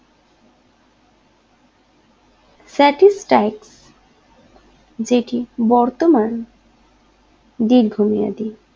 satistick যেটি বর্তমান দীর্ঘমেয়াদি